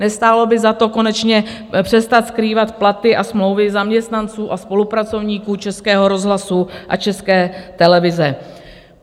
Nestálo by za to konečně přestat skrývat platy a smlouvy zaměstnanců a spolupracovníků Českého rozhlasu a České televize?